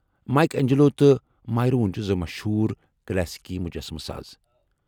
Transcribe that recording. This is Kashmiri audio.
مایک اینجلو تہٕ مایرون چھِ زٕ مشہوٗر کلاسیکی مُجسمہٕ ساز۔